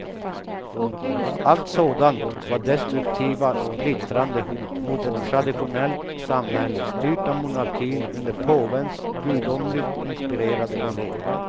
Allt sådant var destruktiva, splittrande hot mot ett traditionellt samhälle styrt av monarkin under påvens gudomligt inspirerade ledning.